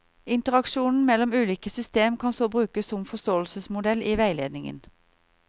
Interaksjonen mellom ulike system kan så brukes som forståelsesmodell i veiledningen.